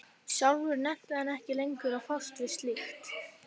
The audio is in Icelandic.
Sjálfur nennti hann ekki lengur að fást við slíkt.